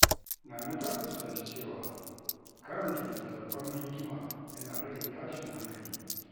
Nana ta fuskanci cewa karanta littattafan hikima yana rage tashin hankali.